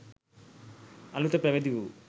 අලුත පැවිදි වූ